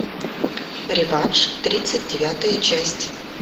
реванш тридцать девятая часть